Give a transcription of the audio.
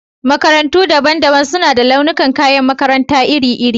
Makarantu daban-daban suna da launuka kayan makaranta iri-iri.